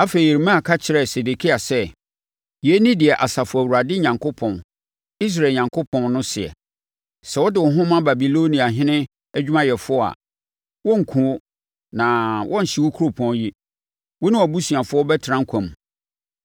Afei Yeremia ka kyerɛɛ Sedekia sɛ, “Yei ne deɛ Asafo Awurade Onyankopɔn, Israel Onyankopɔn, no seɛ: ‘Sɛ wode wo ho ma Babiloniahene adwumayɛfoɔ a, wɔrenkum wo na wɔrenhye kuropɔn yi, wo ne wʼabusuafoɔ bɛtena nkwa mu.